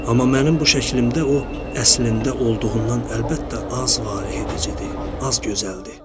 Amma mənim bu şəklimdə o, əslində olduğundan əlbəttə az valehedicidir, az gözəldir.